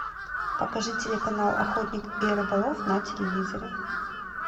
покажи телеканал охотник и рыболов на телевизоре